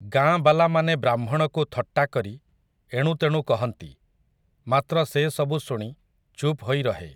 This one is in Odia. ଗାଁବାଲାମାନେ ବ୍ରାହ୍ମଣକୁ ଥଟ୍ଟା କରି ଏଣୁତେଣୁ କହନ୍ତି, ମାତ୍ର ସେ ସବୁ ଶୁଣି, ଚୁପ୍ ହୋଇ ରହେ ।